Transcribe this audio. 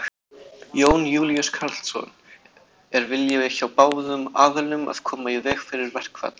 Jón Júlíus Karlsson: Er vilji hjá báðum aðilum að koma í veg fyrir verkfall?